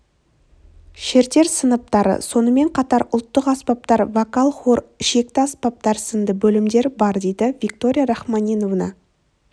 шертер сыныптары сонымен қатар ұлттық аспаптар вокал-хор ішекті аспаптар сынды бөлімдер бар дейді виктория рахманинова